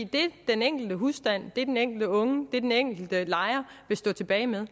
det den enkelte husstand det den enkelte unge det den enkelte lejer vil stå tilbage med er